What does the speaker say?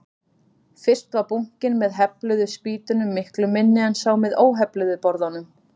Fyrst var bunkinn með hefluðu spýtunum miklu minni en sá með óhefluðu borðunum.